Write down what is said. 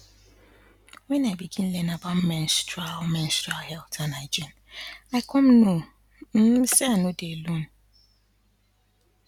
when i begin learn about menstrual menstrual health and hygiene i come know um say i no dey alone